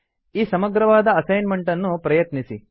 ಈ ಸಮಗ್ರವಾದ ಅಸೈನ್ಮೆಂಟ್ ಅನ್ನು ಪ್ರಯತ್ನಿಸಿ